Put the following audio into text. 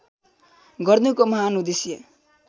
गर्नुको महान् उद्देश्य